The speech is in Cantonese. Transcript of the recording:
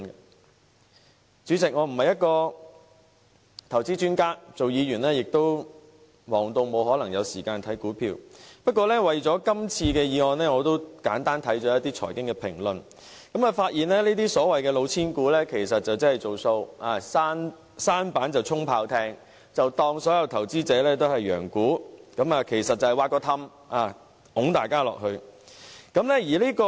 代理主席，我不是投資專家，擔任議員亦已忙碌得沒有時間留意股票，但為了這次議案辯論，我簡單地看過一些財經評論，發現這些所謂"老千股"，其實是"造數"，"舢舨充炮艇"，把投資者當作羊牯，挖一個洞把他們推下去。